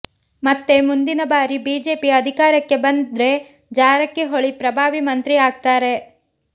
ಮತ್ತೆ ಮುಂದಿನ ಬಾರಿ ಬಿಜೆಪಿ ಅದಿಕಾರಕ್ಕೆ ಬಂದ್ರೆ ಜಾರಕಿಹೊಳಿ ಪ್ರಭಾವಿ ಮಂತ್ರಿ ಆಗ್ತಾರೆ